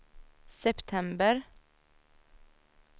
september